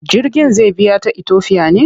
Jirgin zai biya ta Itofiya ne?